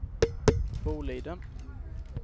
Boliden